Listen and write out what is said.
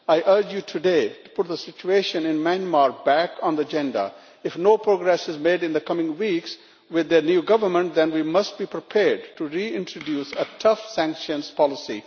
I urge you today to put the situation in Myanmar back on the agenda. If no progress is made in the coming weeks with the new government, then we must be prepared to reintroduce a tough sanctions policy.